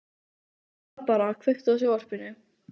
Barbára, kveiktu á sjónvarpinu.